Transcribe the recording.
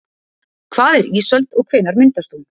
Hvað er ísöld og hvenær myndast hún?